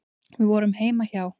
Við vorum heima hjá